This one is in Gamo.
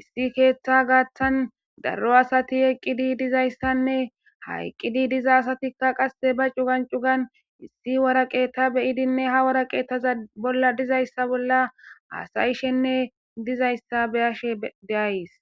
issi keeththaa gaththan daro asthi eqqidi dizayssanne ha eqqidi diza asaththikka qasse ba cugan cugan issi woreqathe be7idinne ha woraqathe bolla dizayssa bolla haasayishenne dizayssa be7ashee de7ays.